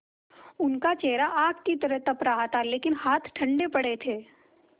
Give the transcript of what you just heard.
उनका चेहरा आग की तरह तप रहा था लेकिन हाथ ठंडे थे